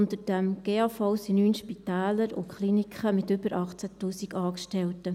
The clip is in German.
Unter diesem GAV sind 9 Spitäler und Kliniken mit über 18 000 Angestellten.